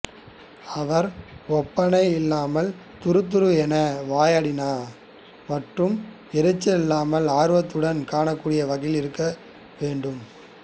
அவர் ஒப்பனை இல்லாமல் துருதுருவென வாயாடியான மற்றும் எரிச்சலில்லாமல் ஆர்வத்துடன் காணக்கூடிய வகையில் இருக்க வேண்டும்